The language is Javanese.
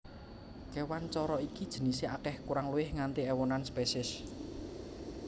Kéwan coro iki jinisé akèh kurang luwih nganti éwonan spesies